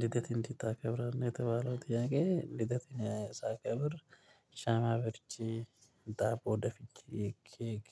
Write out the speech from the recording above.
ልደት እንዴት ታከብራለህ የተባለው ጥያቄ? ልደት እኔ ሳከብር ሻማ አብርቼ ዳቦ ደፍቼ ኬክ